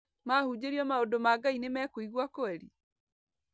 Mahunjĩrio maũndũ ma Ngai nĩmekũigwa kweri?